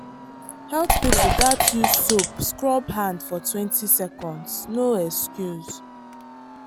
health people gats use soap scrub hand fortwentyseconds no excuse.